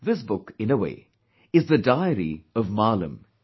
This book, in a way, is the diary of Maalam